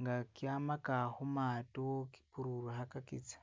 nga kyamaka humaato kipululiha akitsya